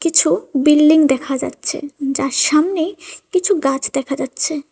কিছু বিল্ডিং দেখা যাচ্ছে যার সামনে কিছু গাছ দেখা যাচ্ছে।